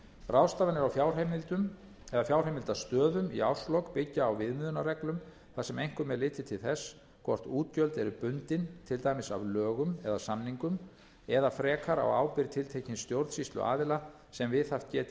ráðstafanir á fjárheimildastöðum í árslok byggja á viðmiðunarreglum þar sem einkum er litið til þess hvort útgjöld eru bundin til dæmis af lögum eða samningum eða frekar á ábyrgð tiltekins stjórnsýsluaðila sem viðhaft geti